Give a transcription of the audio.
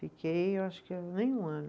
Fiquei, eu acho que nem um ano.